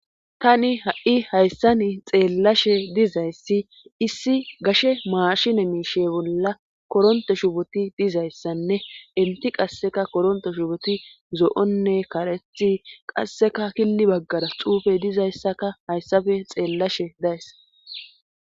tani ha7i hayssani xeellashe dizayssi issi gashe maashine miishe bolla koronto shuboti dizayssanne elti qasseka koronto shuboti zo7onne karethi qasseka killi baggara xuufe dizayssaka hayssafe xeellashe days